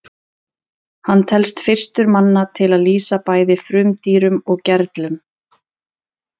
hann telst fyrstur manna til að lýsa bæði frumdýrum og gerlum